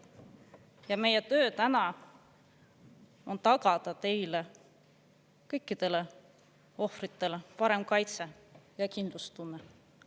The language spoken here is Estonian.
Ja meie töö täna on tagada teile – kõikidele ohvritele – parem kaitse ja kindlustunne.